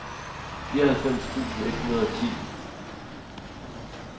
fireoghalvfems tusind et hundrede og ti